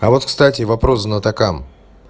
а вот кстати вопрос знатокам